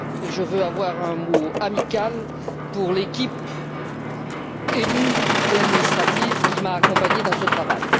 Je veux avoir un mot amical pour l'équipe élue et administrative qui m'a accompagné dans ce travail.